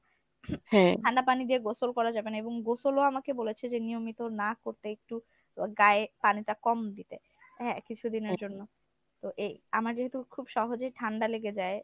ঠান্ডা পানি দিয়ে গোসল করা যাবে না এবং গোসলও আমাকে বলেছে যে নিয়মিত না করতে একটু গায়ে পানিটা কম দিতে। হ্যাঁ কিছুদিনের জন্য। তো এই আমার যেহেতু খুব সহজেই ঠান্ডা লেগে যায়